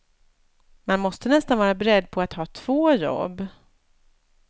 Man måste nästan vara beredd på att ha två jobb.